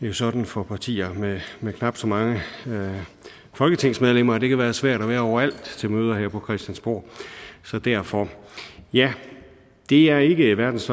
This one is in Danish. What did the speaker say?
jo sådan for partier med knap så mange folketingsmedlemmer at det kan være svært at være overalt til møder her på christiansborg så derfor ja det er ikke verdens